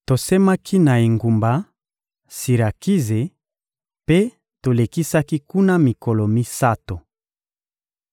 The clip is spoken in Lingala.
Tosemaki na engumba Sirakize, mpe tolekisaki kuna mikolo misato.